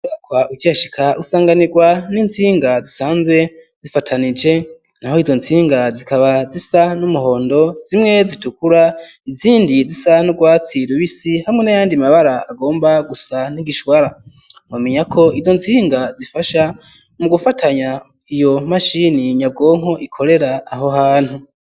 Aho ukihashika usanganirwa n'intsinga zisanzwe zifatanije naho izo ntsinga zikaba zisa n'umuhondo zimwe zitukura izindi zisa n'urwatsi rubisi hamwe n'ayandi mabara agomba gusa n'igishwara nomenya ko izo ntsinga zifasha mu gufatanya iyo mashini nyabwonko ikorera aho hantu.